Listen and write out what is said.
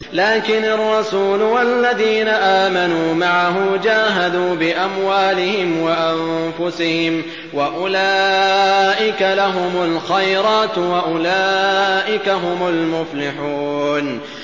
لَٰكِنِ الرَّسُولُ وَالَّذِينَ آمَنُوا مَعَهُ جَاهَدُوا بِأَمْوَالِهِمْ وَأَنفُسِهِمْ ۚ وَأُولَٰئِكَ لَهُمُ الْخَيْرَاتُ ۖ وَأُولَٰئِكَ هُمُ الْمُفْلِحُونَ